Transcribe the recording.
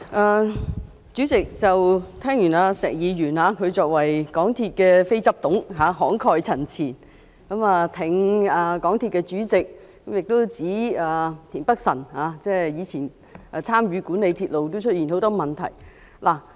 代理主席，聽完石議員的慷慨陳辭，他是香港鐵路有限公司的非執行董事，挺港鐵公司的主席，亦指田北辰議員以前參與管理鐵路時，也出現很多問題。